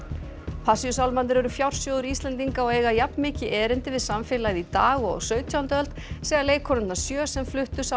Passíusálmarnir eru fjársjóður Íslendinga og eiga jafn mikið erindi við samfélagið í dag og á sautjándu öld segja leikkonurnar sjö sem fluttu